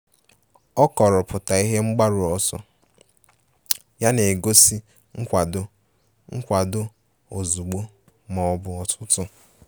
O kọrọpụta ihe mgbaru ọsọ ya n'egosipụtaghi nkwado nkwado ozugbo ma ọ bụ otutu.